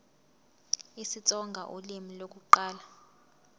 isitsonga ulimi lokuqala